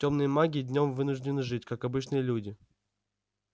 тёмные маги днём вынуждены жить как обычные люди